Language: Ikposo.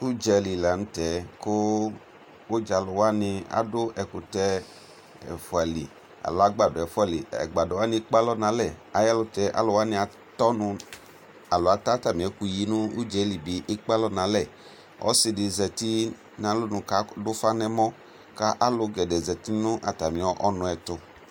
ʋdzali lantɛ kʋ, ʋdza alʋ wani adʋ ɛkʋtɛ ɛƒʋali, alɔ agbadɔ ɛƒʋa li, agbadɔ wani ɛkpɛ nʋ alɛ ayi ɛlʋtɛ alʋwani atɔ ɔnʋ alɔ atɛ atami ɛkʋyi nʋ ʋdzaɛli ɛdi ɛkpè alɔ nʋ alɛ, ɔsiidi zati nʋ alɔnʋ kʋ kʋ adʋ ʋƒa nʋ ɛmɔ kʋ kʋ alʋgɛdɛɛ zati nʋ atami ɔnʋ ɛtʋ